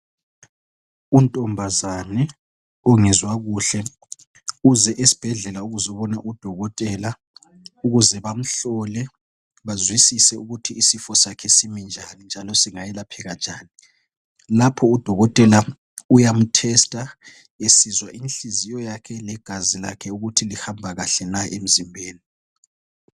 Untombazane ongezwa kuhle, uze esibhedlela ukuzobona uDokotela ukuze bamhlole bazwisise ukuthi isifo sakhe simi njani njalo singayelapheka njani. Lapho udokotela uyamu tester esizwa inhliziyo yakhe legazi lakhe ukuthi lihamba kahle na emzimbeni.